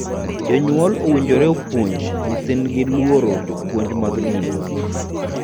Jonyuol owinjore opuonj nyithindgi luoro jopuonje mag din.